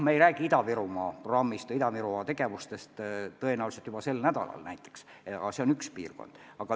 Me ei räägi Ida-Virumaa programmist ja Ida-Virumaa tegevustest juba sel nädalal näiteks, aga see on üks vaatlusalune piirkond.